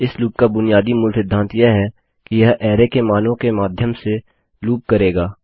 इस लूप का बुनियादी मूल सिद्धांत यह है कि यह अरै के मानों के माध्यम से लूप करेगा